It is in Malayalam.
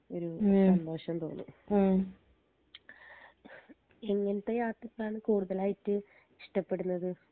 ഒരു സന്തോഷം തോന്നും എങ്ങനത്തെ യാത്രകളാണ് കൂടുതലായിട്ട് ഇഷ്ട്ടപ്പെടുന്നത്